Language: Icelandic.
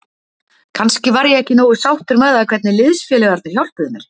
Kannski var ég ekki nógu sáttur með það hvernig liðsfélagarnir hjálpuðu mér.